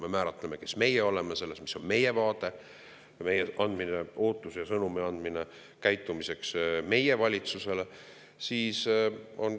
Me määratleme, kes meie oleme, mis on meie vaade, me edastame sõnumi meie valitsusele,.